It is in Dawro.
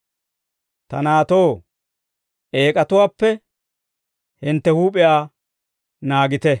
Ta naatoo, eek'atuwaappe hintte huup'iyaa naagite.